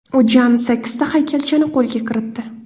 U jami sakkizta haykalchani qo‘lga kiritdi.